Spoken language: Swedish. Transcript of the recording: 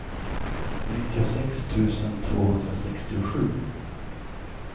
nittiosex tusen tvåhundrasextiosju